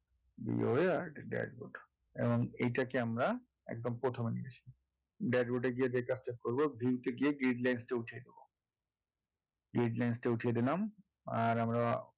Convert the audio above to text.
. dashboard এবং এটাক আমরা একদম প্রথমে নিয়ে আসি dashboard এ গিয়ে যে কাজটা করবো view তে গিয়ে gridlines টা উঠিয়ে দেবো gridlines টা উঠিয়ে দিলাম আর আমরা